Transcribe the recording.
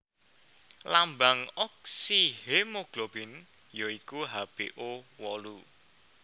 Lambang oksihemoglobin ya iku HbO wolu